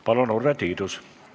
Palun, Urve Tiidus!